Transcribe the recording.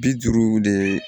Bi duuru de